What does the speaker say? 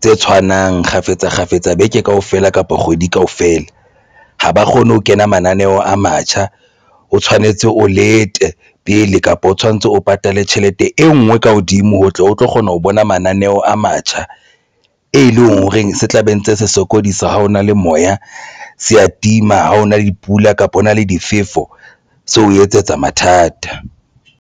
tse tshwanang kgafetsa kgafetsa beke kaofela kapa kgwedi kaofela ha ba kgone ho kena mananeo a matjha o tshwanetse o lete pele kapa o tshwanetse o patale tjhelete e nngwe ka hodimo ho tle o tlo kgona ho bona mananeo a matjha, e leng hore se tla be ntse se sokodisa ha hona le moya se a tima. Ha hona le dipula kapa hona le difefo se ho etsetsa mathata.